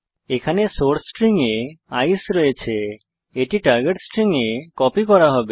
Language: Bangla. এখানে সোর্স স্ট্রিং এ আইসিই আছে এটি টার্গেট স্ট্রিং এ কপি করা হবে